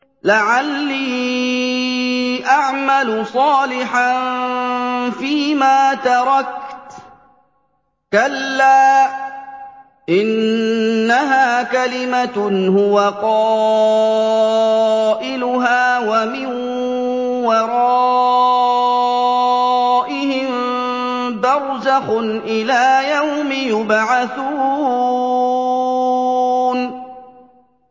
لَعَلِّي أَعْمَلُ صَالِحًا فِيمَا تَرَكْتُ ۚ كَلَّا ۚ إِنَّهَا كَلِمَةٌ هُوَ قَائِلُهَا ۖ وَمِن وَرَائِهِم بَرْزَخٌ إِلَىٰ يَوْمِ يُبْعَثُونَ